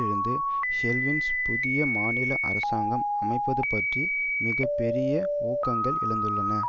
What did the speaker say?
இருந்து ஹெல்வில் புதிய மாநில அரசாங்கம் அமைப்பது பற்றி மிக பெரிய ஊகங்கள் எழுந்துள்ளன